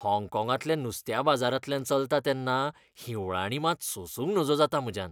हाँगकाँगांतल्या नुस्त्याबाजारांतल्यान चलतां तेन्ना हिंवळाणी मात सोंसूंक नजो जातात म्हज्यान .